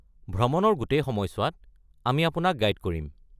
ভ্ৰমণৰ গোটেই সময়ছোৱাত মই আপোনাক গাইড কৰিম।